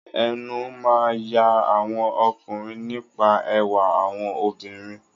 Ẹnu máa ń ya àwọn ọkùnrin nípa ẹwà àwọn obìnrin.